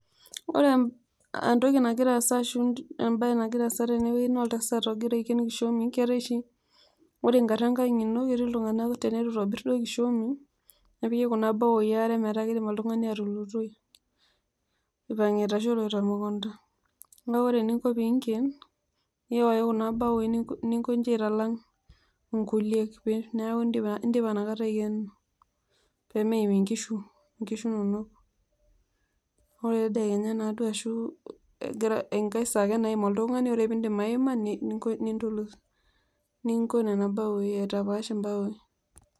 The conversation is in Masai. Ore entoki nagira aasa arashu embae nagira aasa naa oltasat igirra aiken kishomi keetai oshi, ore ingara enkang' ino kii iltunganak leitu eitoborr kishomi nepoki kuna bawoyi metaa keidim oltungani atulutoi, eipangita arshu eloito temukunda. naa ore eningo pee iinken, nowoyu kuna baowoi ningoje aitalang ingulie neeku indipa nakata aikeno pee meeim inkishu inono, ore tedekenya naaduo aashum, engai saa ake naaim oltungani, ore pee iidip aima nindulut ningo nena baoyi aitapaash embao.